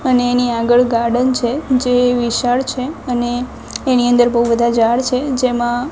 અને એની આગળ ગાર્ડન છે જે વિશાળ છે અને એની અંદર બૌ બધા ઝાડ છે જેમા --